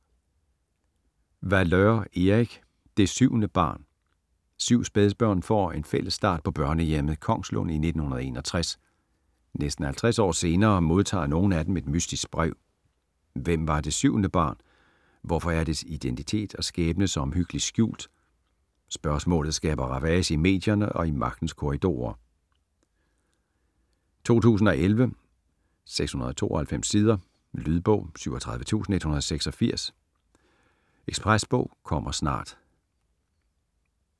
Valeur, Erik: Det syvende barn Syv spædbørn får en fælles start på børnehjemmet Kongslund i 1961. Næsten 50 år senere modtager nogle af dem et mystisk brev. Hvem var det syvende barn, hvorfor er dets identitet og skæbne så omhyggeligt skjult? Spørgsmålet skaber ravage i medierne og i magtens korridorer. 2011, 692 sider. Lydbog 37186 Ekspresbog - kommer snart